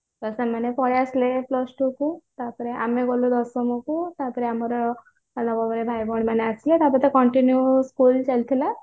ତ ସେମାନେ ପଳେଇ ଆସିଲେ plus two କୁ ତାପରେ ଆମେ ଗଲୁ ଦଶମ କୁ ତାପରେ ଆମର ଭାଇ ଭଉଣୀ ମାନେ ଆସିଲେ ତାପରେ ତ continue school ଚାଲିଥିଲା